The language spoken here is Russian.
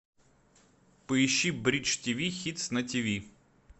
поищи бридж тв хитс на тв